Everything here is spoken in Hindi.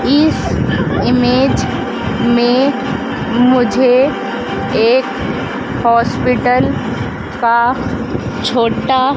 इस इमेज़ में मुझे एक हॉस्पिटल का छोटा--